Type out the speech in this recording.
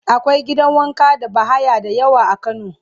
akwai gidan wanka da bahaya da yawa a kano